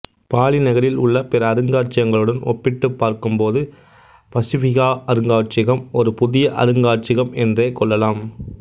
poly நகரில் உள்ள பிற அருங்காட்சியகங்களுடன் ஒப்பிட்டுப்பார்க்கும்போது பசிஃபிகா அருங்காட்சியகம் ஒரு புதிய அருங்காட்சியகம் என்றே கொள்ளலாம்